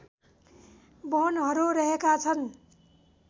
वनहरू रहेका छन्